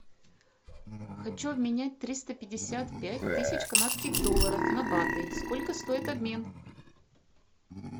хочу обменять триста пятьдесят пять тысяч канадских долларов на баты сколько стоит обмен